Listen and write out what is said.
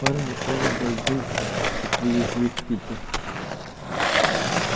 парня прямо во льду и привезли в питер